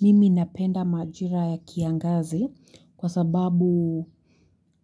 Mimi napenda majira ya kiangazi kwa sababu